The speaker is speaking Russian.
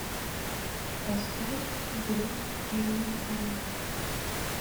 поставь звезд дивные алмазы